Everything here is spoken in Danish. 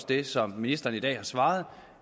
det som ministeren i dag har svaret